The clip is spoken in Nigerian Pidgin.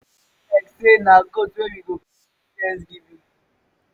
e e be like say na goat we go carry do thanksgiving.